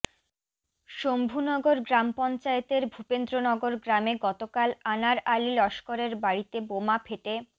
শম্ভুনগর গ্রাম পঞ্চায়েতের ভূপেন্দ্রনগর গ্রামে গতকাল আনার আলি লস্করের বাড়িতে বোমা ফেটে